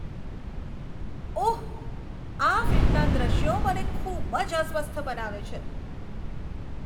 ઓહ! આ ફિલ્મમાંના દ્રશ્યો મને ખૂબ જ અસ્વસ્થ બનાવે છે.